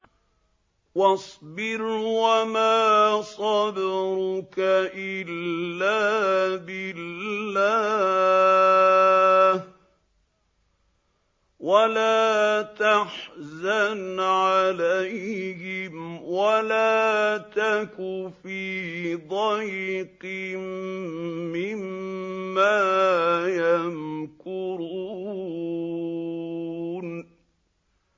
وَاصْبِرْ وَمَا صَبْرُكَ إِلَّا بِاللَّهِ ۚ وَلَا تَحْزَنْ عَلَيْهِمْ وَلَا تَكُ فِي ضَيْقٍ مِّمَّا يَمْكُرُونَ